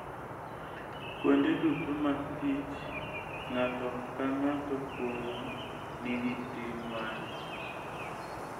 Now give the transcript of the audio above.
Kuonde duto mag tich, ng'ato ka ng'ato kuomwa nigi ting' mare.